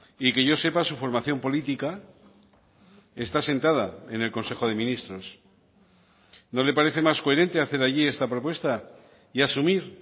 y que yo sepa su formación política está asentada en el consejo de ministros no le parece más coherente hacer allí esta propuesta y asumir